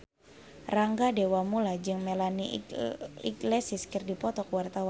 Rangga Dewamoela jeung Melanie Iglesias keur dipoto ku wartawan